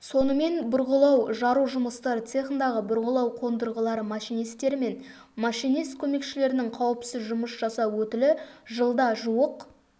сонымен бұрғылау-жару жұмыстары цехындағы бұрғылау қондырғылары машинистері мен машинист көмекшілерінің қауіпсіз жұмыс жасау өтілі жылда жуық